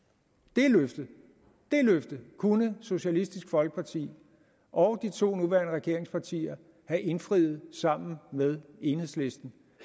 det løfte kunne socialistisk folkeparti og de to nuværende regeringspartier have indfriet sammen med enhedslisten